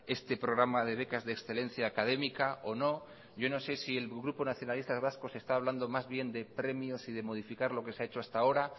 este programa de becas de excelencia académica o no yo no sé si el grupo nacionalistas vascos está hablando más bien de premios y de modificar lo que se ha hecho hasta ahora